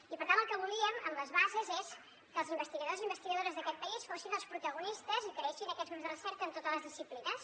i per tant el que volíem amb les bases és que els investigadors i investigadores d’aquest país fossin els protagonistes i creessin aquests grups de recerca en totes les disciplines